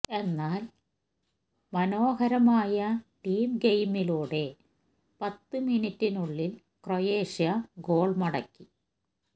എന്നാല് മനോഹരമായ ടീം ഗെയിമിലൂടെ പത്ത് മിനിറ്റിനുള്ളില് ക്രൊയേഷ്യ ഗോള് മടക്കി